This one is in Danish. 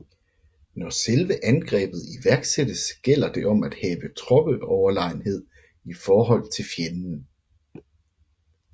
Når selve angrebet iværksættes gælder det om at have troppeoverlegenhed i forhold til fjenden